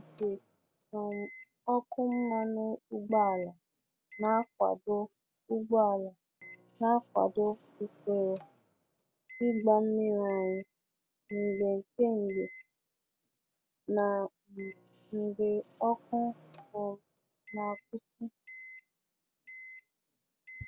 Igwe um ọkụ mmanụ ụgbọala na-akwado ụgbọala na-akwado usoro ịgba mmiri anyị mgbe kembe na um mgbe ọkụ um na-akwụsị.